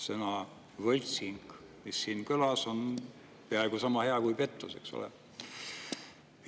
Sõna "võltsing", mis siin kõlas, on peaaegu sama hea kui "pettus", eks ole.